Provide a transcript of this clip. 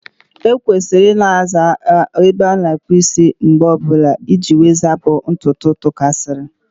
E kwesịrị Ị na-aza ebe a na-akpụ isi oge ọbụla iji zapụ ntutu tụkasiri.